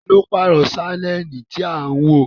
Taa ló pààrọ̀ sánẹ́ẹ̀lì tí à ń wò?